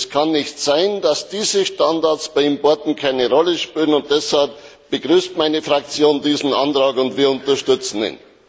Es kann nicht sein, dass diese Standards bei Importen keine Rolle spielen, und deshalb begrüßt meine Fraktion diesen Antrag, und wir unterstützen ihn.